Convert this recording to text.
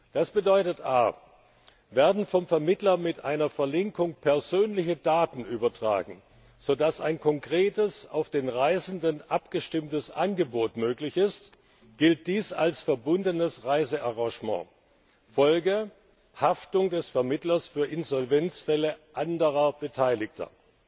Das bedeutet a Werden vom Vermittler mit einer Verlinkung persönliche Daten übertragen, sodass ein konkretes auf den Reisenden abgestimmtes Angebot möglich ist, gilt dies als verbundenes Reisearrangement. Folge Haftung des Vermittlers für Insolvenzfälle anderer Beteiligter